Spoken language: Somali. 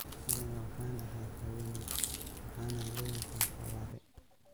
“Anigu waxaan ahay haweeney, waxaanan leeyahay xawaare.”